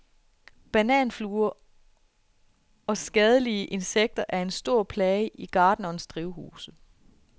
Bananfluer og skadelige insekter er en stor plage i gartnernes drivhuse.